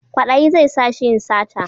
Kwaɗayi zai sa shi yin sata